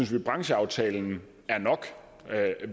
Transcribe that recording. den brancheaftale der er